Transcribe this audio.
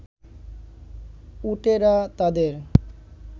উটেরা তাদের